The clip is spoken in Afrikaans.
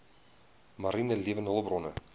mariene lewende hulpbronne